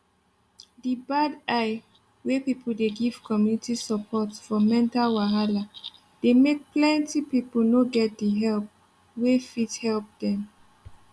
the bad eye wey people dey give community support for mental wahala dey make plenty people no get the help wey fit help dem